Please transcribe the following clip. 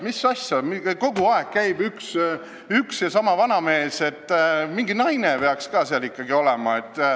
Mis asja, kogu aeg käib üks ja sama vanamees, mingi naine peaks ka ikka olema.